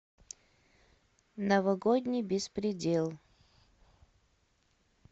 новогодний беспредел